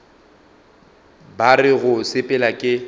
ba re go sepela ke